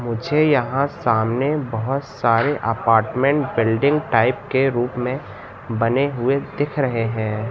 मुझे यहां सामने बहोत सारे अपार्टमेंट बिल्डिंग टाइप के रूप में बने हुए दिख रहे हैं।